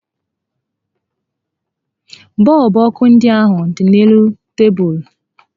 Bọọlbụ ọkụ ndị ahụ dị n'elu tebulu